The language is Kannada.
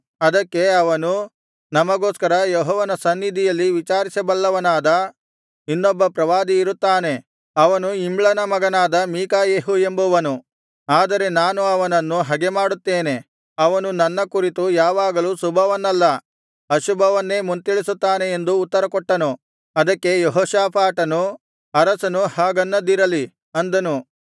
ಅದಕ್ಕೆ ಅವನು ನಮಗೋಸ್ಕರ ಯೆಹೋವನ ಸನ್ನಿಧಿಯಲ್ಲಿ ವಿಚಾರಿಸಬಲ್ಲವನಾದ ಇನ್ನೊಬ್ಬ ಪ್ರವಾದಿಯಿರುತ್ತಾನೆ ಅವನು ಇಮ್ಲನ ಮಗನಾದ ಮೀಕಾಯೆಹು ಎಂಬುವನು ಆದರೆ ನಾನು ಅವನನ್ನು ಹಗೆಮಾಡುತ್ತೇನೆ ಅವನು ನನ್ನ ಕುರಿತು ಯಾವಾಗಲೂ ಶುಭವನ್ನಲ್ಲ ಅಶುಭವನ್ನೇ ಮುಂತಿಳಿಸುತ್ತಾನೆ ಎಂದು ಉತ್ತರಕೊಟ್ಟನು ಅದಕ್ಕೆ ಯೆಹೋಷಾಫಾಟನು ಅರಸನು ಹಾಗನ್ನದಿರಲಿ ಅಂದನು